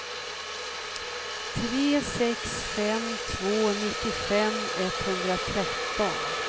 tre sex fem två nittiofem etthundratretton